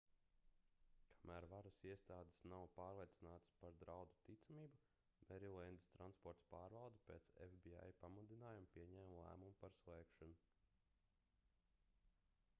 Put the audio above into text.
kamēr varas iestādes nav pārliecinātas par draudu ticamību merilendas transporta pārvalde pēc fbi pamudinājuma pieņēma lēmumu par slēgšanu